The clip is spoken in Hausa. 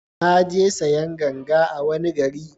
Na je sayan ganga a wani gari